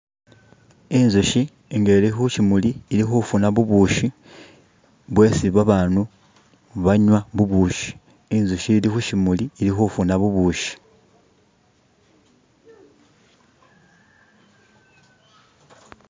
Inzushi inga ili khushimuli ili khufuna bubushi bwesi babandu banywa bubushi inzushi ili khushimuli ili khufuna bubushi.